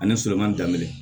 Ani sɔrɔma daminɛ